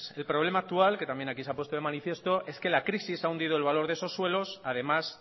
el problema actual que también aquí se ha puesto de manifiesto es que la crisis ha hundido el valor de esos suelos además